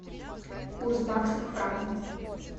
курс бакса к франку